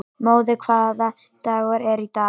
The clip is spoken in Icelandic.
Móði, hvaða dagur er í dag?